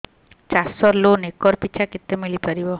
ଚାଷ loan acre ପିଛା କେତେ ମିଳି ପାରିବ